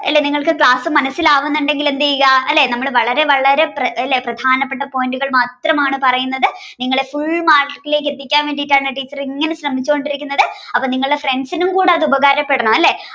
അല്ലേ നിങ്ങൾക്ക് ക്ലാസ് മനസ്സിലാകുന്നുണ്ടെങ്കിൽ എന്ത് ചെയ്യുക അല്ലേ നമ്മൾ വളരെ വളരെ അല്ലേ പ്രധാനപ്പെട്ട point കൾ മാത്രമാണ് പറയുന്നത് നിങ്ങൾ full mark ഇലേക്ക് എത്തിക്കാൻ വേണ്ടിയാണ് ടീച്ചർ ഇങ്ങനെ ശ്രമിച്ചുകൊണ്ടിരിക്കുന്നത് അപ്പോ നിങ്ങളുടെ friends കൂടെ അത് ഉപകാരപ്പെടണം അല്ലേ